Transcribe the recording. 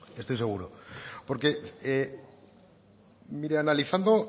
estoy seguro porque mire analizando